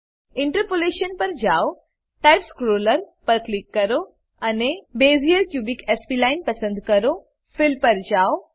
interpolation પર જાવ type scroller પર ક્લિક કરો અને બેઝિયર ક્યુબિક સ્પ્લાઇન પસંદ કરો ફિલ પર જાવ